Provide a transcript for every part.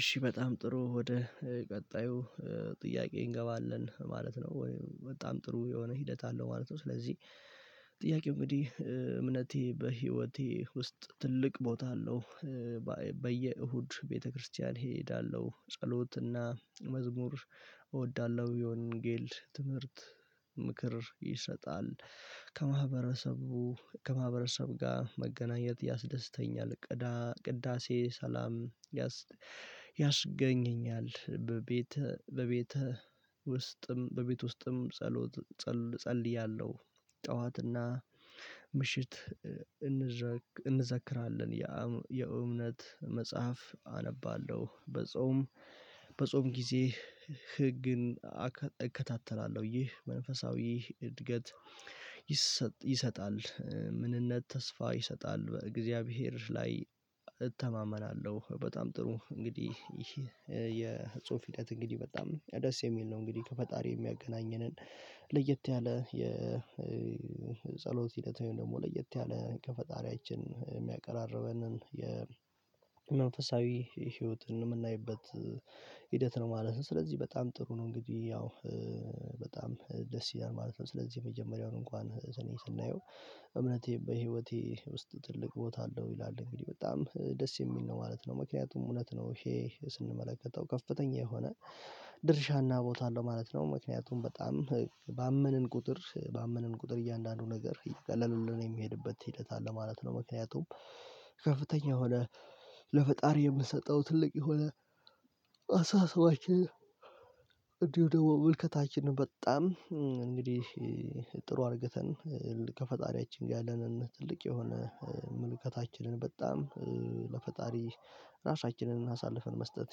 እሺ በጣም ጥሩ ወደ ቀጣዩ ጥያቄ እንገባለን ማለት ነው። ወይም በጣም ጥሩ የሆነ ሂደት አለው ማለት ነው። ስለዚህ ጥያቄው እንግዲህ እምነቴ በህይወቴ ውስጥ ትልቅ ቦታ አለው። በየ እሁድ ቤተክርስቲያን እሄዳለሁ ጸሎት እና መዝሙር እወዳለሁ የወንጌል ትምህርት ምክር ይሰጣል። ከ መሀበረሰብ ከማህበረሰብ ጋር መገናኘት ያስደስተኛል። ቅዳሴ ሰላም ያስገኘኛል። በቤት በቤት ውስጥም በቤት ውስጥም ጸሎት ጸልይያለሁ። ጠዋትና ምሽት እንዘክራለን። የእምነት መጽሐፍ አነባለሁ። በጾም በጾም ጊዜ ህግን እከታተላለሁ። ይህ መንፈሳዊ እድገት ይሰጥ ይሰጣል። ምንነት ተስፋ ይሰጣል በእግዚአብሔር ላይ እተማመናለሁ። በጣም ጥሩ እንግዲህ ይሄ የጽሁፍ ሂደት እንግዲህ በጣም ደስ የሚል ነው። እንግዲህ ከፈጣሪ የሚያገናኘንን ለየት ያለ የጸሎት ሂደት ወይም ደግሞ ለየት ያለ ከፈጣሪያችን የሚያቀራርበንን የመንፈሳዊ ህይወትን የምናይበት ሂደት ነው ማለት ነው። ስለዚህ በጣም ጥሩ ነው። እንግዲህ ያው በጣም ደስ ይላል ማለት ነው። ስለዚህ የመጀመሪያውን እንኳን ዘዴ ስናየው እምነቴ በህይወቴ ውስጥ ትልቅ ቦታ አለው። ይላል እንግዲህ በጣም ደስ የሚል ነው ማለት ነው። ምክንያቱም እውነት ነው ይሄ ስንመለከተው ከፍተኛ የሆነ ድርሻና ቦታ አለው ማለት ነው። ምክንያቱም በጣም ባመንን ቁጥር ባመንን ቁጥር እያንዳንዱ ነገር እየቀለሉልን የሚሄድበት ሂደት አለ ማለት ነው። ምክንያቱም ከፍተኛ የሆነ ለፈጣሪ የምትሰጠው ትልቅ የሆነ አስተሳሰባችን ደግሞ ምልከታችን በጣም እንግዲህ ጥሩ አርገተን ከፈጣሪያችን ጋር ያለንን ትልቅ የሆነ ምልከታችንን በጣም ለፈጣሪ ራሳችንን አሳልፈን መስጠት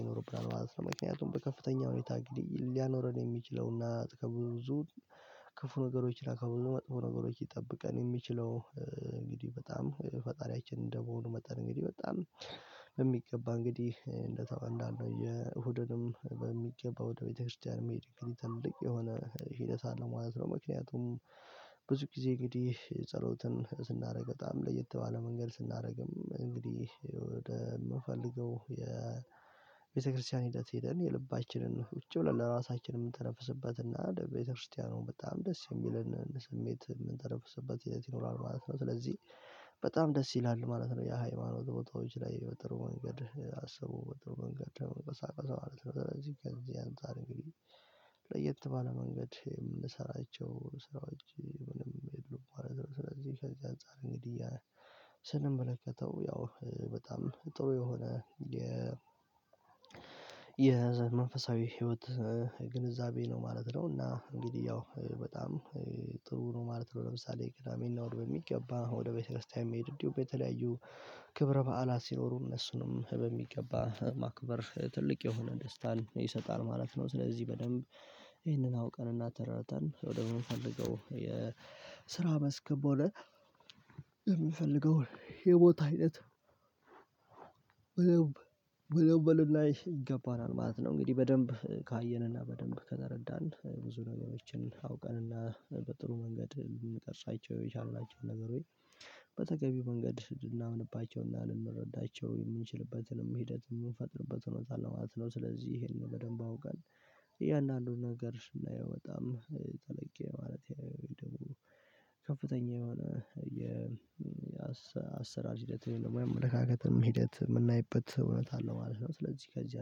ይኖርብናል ማለት ነው። ምክንያቱም በከፍተኛ ሁኔታ አንግዲህ ሊያኖረን የሚችለውና ከብዙ ክፉ ነገሮችና ከብዙ መጥፎ ነገሮች ሊጠብቀን የሚችለው እንግዲህ በጣም ፈጣሪያችን እንደመሆኑ መጣን እንግዲህ በጣም በሚገባ እንግዲህ እንደዛው እንዳልነው የእሁድንም በሚገባ ወደ ቤተክርስቲያን መሄድ እንግዲህ ትልቅ የሆነ ሂደት አለው ማለት ነው። ምክንያቱም ብዙ ጊዜ እንግዲህ የ ጸሎትን ስናደርግ በጣም ለየት ባለ መንገድ ስናደርግም እንግዲህ ወደ የምንፈልገው የቤተክርስቲያን ሂደት ሄደን የልባችንን ቁጭ ብለን ለራሳችን የምንተነፍስበት እና በደንብ ለቤተክርስቲያኑ በጣም ደስ የሚለንን ስሜት የምንተነፍስበት ሂደት ይኖራል ማለት ነው። ስለዚህ በጣም ደስ ይላል ማለት ነው የሃይማኖት ቦታዎች ላይ በጥሩ መንገድ አስቦ በጥሩ መንገድ ተቀሳቀሰ ማለት ነው። ስለዚህ ከዚህ አንፃር እንግዲህ ለየት ባለ መንገድ የምንሰራቸው ስራዎች ምንም የሉም ማለት ነው። ስለዚህ ከዚህ አንፃር እንግዲህ ስንመለከተው ያው በጣም ጥሩ የሆነ የ የመንፈሳዊ ህይወት ግንዛቤ ነው ማለት ነው። እና እንግዲህ ያው በጣም ጥሩ ነው ማለት ነው። ለምሳሌ ቅዳሜ እና እሁድ በሚገባ ወደ ቤተክርስቲያን የመሄድ እንዲሁም በተለያዩ ክብረ በዓላት ሲኖሩ እነሱንም በሚገባ ማክበር ትልቅ የሆነ ደስታን ይሰጣል ማለት ነው። ስለዚህ በደንብ ይህንን አውቀንና ተረድተን ወደምንፈልገው የስራ መስክ ቦለ የምንፈልገውን የቦታ አይነት በለብ በለብ በለብ ላይ ይገባናል ማለት ነው። እንግዲህ በደንብ ካየንና በደንብ ከተረዳን ብዙ ነገሮችን አውቀንና በጥሩ መንገድ ልንጠቅሳቸው የቻልናቸውን ነገሮች በተገቢው መንገድ ልናምንባቸውና ልንረዳቸው የምንችልበትንም ሂደትንም የምንፈጥርበትም ሁኔታ አለ ማለት ነው። ስለዚህ ይሄንን በደንብ አውቀን እያንዳንዱን ነገር ስናይ በጣም ጠለቅ የማለት ወይ ደግሞ ከፍተኛ የሆነ የ አሰራር ሂደት ወይም የአመልካከትም ሂደት የምናይበት እውነት አለው ማለት ነው። ስለዚህ ከዚህ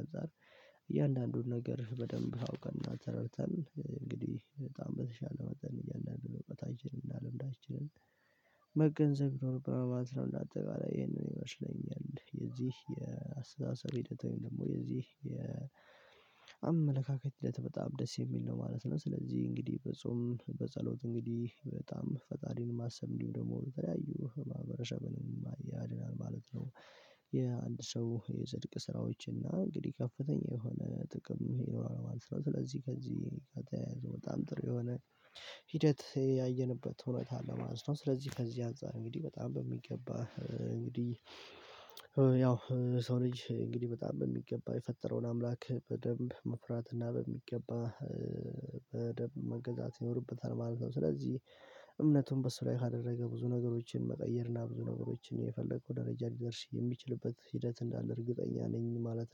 አንፃር እያንዳንዱን ነገር በደንብ አውቀንና ተረድተን እንግዲህ በጣም በተሻለ መጠን እያንዳንዱን እውቀታችንን እና ልምዳችንን መገንዘብ ይኖርብናል ማለት ነው። እንደ አጠቃላይ ይሄንን ይመስለኛል የዚህ የአስተሳሰብ ሂደት ወይም ደግሞ የዚህ የአመለካከት ሂደት በጣም ደስ የሚል ነው ማለት ነው። ስለዚህ እንግዲህ በጾም በጸሎት እንግዲህ በጣም ፈጣሪን ማሰብ እንዲሁም ደግሞ በተለያዩ ማህበረሰብን ያድናል ማለት ነው። የአንድ ሰው የጽድቅ ስራዎች እና እንግዲህ ከፍተኛ የሆነ ጥቅም ይኖራል ማለት ነው። ስለዚህ ከዚህ ከተያያዘ በጣም ጥሩ የሆነ ሂደት ያየንበት ሁኔታ አለ ማለት ነው። ስለዚህ ከዚህ አንፃር እንግዲህ በጣም በሚገባ እንግዲህ ያው ሰው ልጅ እንግዲህ በጣም በሚገባ የፈጠረውን አምላክ በደንብ መፍራት እና በሚገባ በደንብ መገዛት ይኖርብታል ማለት ነው። ስለዚህ እምነቱን በሱ ላይ ካደረገ ብዙ ነገሮችን መቀየርና ብዙ ነገሮችን የፈለገው ደረጃ ሊደርስ የሚችልበት ሂደት እንዳለ እርግጠኛ ነኝ ማለት ነው